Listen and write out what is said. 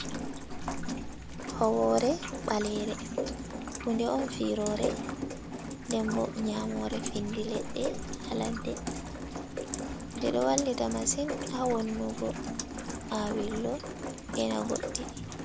Howore ɓalere hunde on firore dem bo nya more findi leɗɗe haladde den ɗo wallita masin ha wannugo awirlo e na goɗɗi.